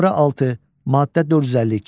Nömrə 6, maddə 452.